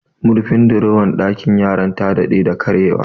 Murfin dorowar ɗakin yaran ta dade da karye wa